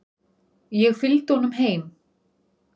Ég fylgdi honum heim.